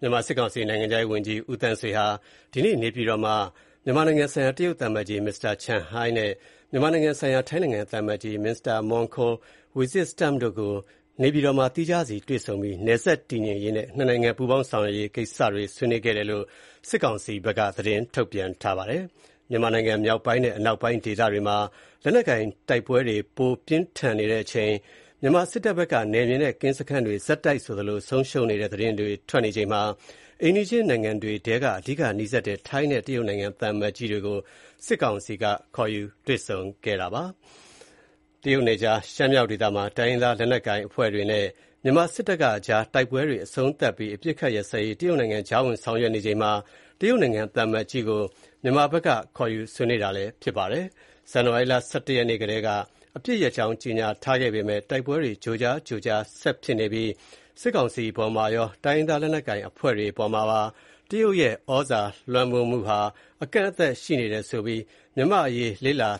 မြန်မာစစ်ကောင်စီ နိုင်ငံခြားရေးဝန်ကြီး ဦးသန်းဆွေဟာ မြန်မာနိုင်ငံဆိုင်ရာ တရုတ်သံအမတ်ကြီး မစ္စတာ Chen Hai နဲ့ မြန်မာနိုင်ငံဆိုင်ရာ ထိုင်းနိုင်ငံ သံအမတ်ကြီး မစ္စတာ Mongkol Visitstump တို့ကို နေပြည်တော်မှာ သီးခြားစီတွေ့ဆုံပြီး နယ်စပ်တည်ငြိမ်ရေးနဲ့ နှစ်နိုင်ငံ ပူးဆောင်ဆောင်ရွက်ရေး ကိစ္စတွေကို ဆွေးနွေးတဲ့အကြောင်း စစ်ကောင်စီက သတင်းထုတ်ပြန်ပါတယ်။ မြန်မာနိုင်ငံ မြောက်ပိုင်းနဲ့ အနောက်ပိုင်း ဒေသတွေမှာ လက်နက်ကိုင်တိုက်ပွဲတွေ ပိုပြီး ပြင်းထန်နေတဲ့အချိန် မြန်မာစစ်တပ်ဘက်က နယ်မြေနဲ့ ကင်းစခန်းတွေ ဆက်တိုက်ဆိုသလို ဆုံးရှုံးနေတဲ့ သတင်းတွေ ထွက်နေချိန်မှာ အိမ်နီးချင်းနိုင်ငံတွေထဲက အဓိက နီးစပ်တဲ့ ထိုင်းနဲ့ တရုတ်နိုင်ငံ သံအမတ်ကြီးတွေကို စစ်ကောင်စီဘက်က ခေါ်ယူတွေ့ဆုံတာပါ။ တရုတ်နယ်ခြား ရှမ်းမြောက်ဒေသမှာ တိုင်းရင်းသား လက်နက်ကိုင်အဖွဲ့တွေနဲ့ မြန်မာစစ်တပ်ကအကြား တိုက်ပွဲတွေ အဆုံးသတ်ပြီး အပစ်အခတ်ရပ်စဲရေး တရုတ်နိုင်ငံကြားဝင်ဆောင်ရွက်နေချိန်မှာ တရုတ်နိုင်ငံ သံအမတ်ကြီးကို မြန်မာဘက်က ခေါ်ယူဆွေးနွေးတာဖြစ်ပါတယ်။ ဇန်နဝါရီလ ၁၁ ရက်နေ့ကတည်းက အပစ်ရပ်ကြောင်း ကြေညာထားပေမဲ့ တိုက်ပွဲတွေ ကြိုးကြားကြိုးကြား ဆက်ဖြစ်နေပြီးစစ်ကောင်စီအပေါ်မှာရော တိုင်းရင်းသား လက်နက်ကိုင်အဖွဲ့တွေ အပေါ်မှာပါ တရုတ်ရဲ့ ဩဇာလွှမ်းမိုးမှုဟာ အကန့်အသတ်ရှိနေတယ်ဆိုပြီး မြန်မာ့အရေး လေ့လာ